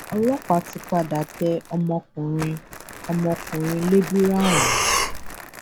ọlọpàá ti padà tẹ ọmọkùnrin ọmọkùnrin lébírà ọhún